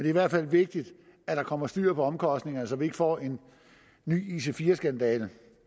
i hvert fald vigtigt at der kommer styr på omkostningerne så vi ikke får en ny ic4 skandale